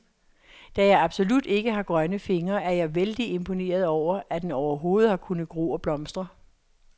Da jeg absolut ikke har grønne fingre, er jeg vældig imponeret over, at den overhovedet har kunnet gro og blomstre.